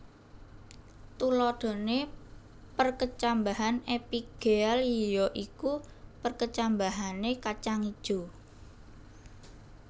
Tuladhané perkecambahan epigéal ya iku perkecambahané kacang ijo